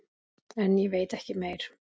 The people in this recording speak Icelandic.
En ég veit ekki meir.